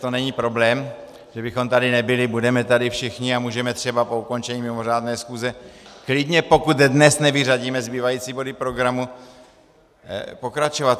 To není problém, že bychom tady nebyli, budeme tady všichni a můžeme třeba po ukončení mimořádné schůze klidně, pokud dnes nevyřadíme zbývající body programu, pokračovat.